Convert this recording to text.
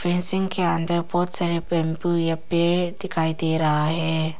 Fencing के अंदर बहुत सारे बंबू या पेड़ दिखाई दे रहा है।